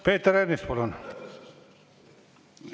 Peeter Ernits, palun!